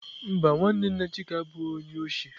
Mba, nwanne nna chike abụghị onye isi